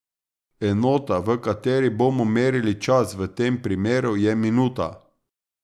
Enota, v kateri bomo merili čas v tem primeru, je minuta.